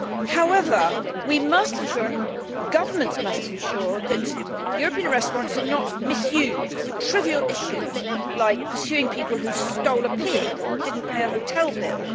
However, we must ensure and governments must ensure that European arrest warrants are not misused for trivial issues, like pursuing people who stole a pig or did not pay a hotel bill.